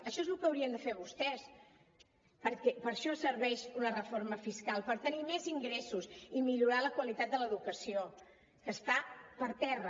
això és lo que haurien de fer vostès perquè per a això serveix una reforma fiscal per tenir més ingressos i millorar la qualitat de l’educació que està per terra